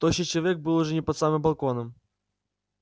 тощий человек был уже не под самым балконом